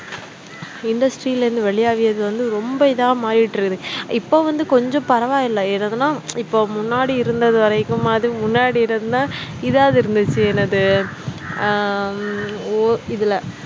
industry ல இருந்து வெளியாகியது வந்து ரொம்ப இதா மாறிகிட்டிருக்குது இப்ப வந்து கொஞ்சம் பரவாயில்லை எது எதுனா இப்போ முன்னாடி இருந்தது வரைக்குமாவது முன்னாடி இருந்தா இதாவது இருந்துச்சு என்னது ஹம் ஓ இதுல